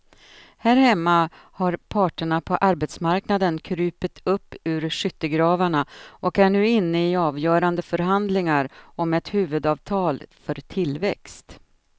Här hemma har parterna på arbetsmarknaden krupit upp ur skyttegravarna och är nu inne i avgörande förhandlingar om ett huvudavtal för tillväxt.